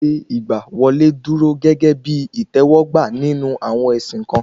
Ṣíṣe ìgbà wọlé dúró gégé bí ìtẹ̀wọ́gbà nínú àwọn ẹ̀sìn kan